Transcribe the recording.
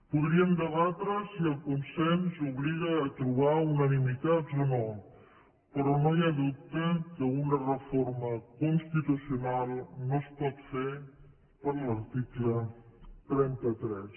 podríem debatre si el consens obliga a trobar unanimitats o no però no hi ha dubte que una reforma constitucional no es pot fer per l’article trenta tres